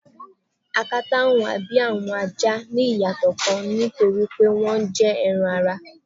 Akata huwa bi awọn aja ni iyatọ nikan ni nitori pe wọn jẹ ẹran-ara